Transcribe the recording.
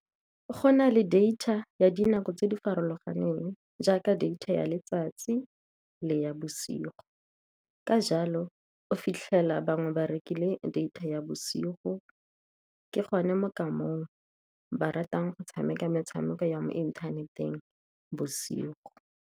Go na le data ya dinako tse di farologaneng, jaaka data ya letsatsi le ya bosigo. Ka jalo, o fitlhela bangwe ba rekile data ya bosigo, ke gone mo ka mong ba ratang go tshameka metshameko ya mo inthaneteng bosigo.